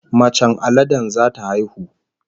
Macen aladen zata haihu